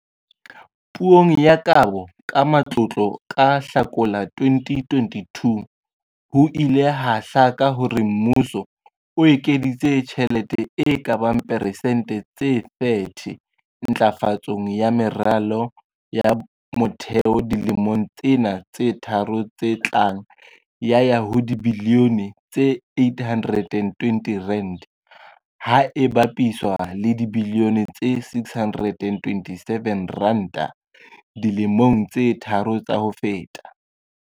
Puong ya Kabo ya Matlotlo ka Hlakola 2022, ho ile ha hlaka hore mmuso o ekeditse tjhelete e ka bang persente tse 30 ntlafatsong ya meralo ya motheo dilemong tsena tse tharo tse tlang ya ya ho dibilione tse R812, ha e bapiswa le dibilione tse R627 dilemong tse tharo tsa ho feta.